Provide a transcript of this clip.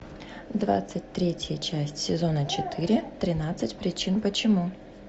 двадцать третья часть сезона четыре тринадцать причин почему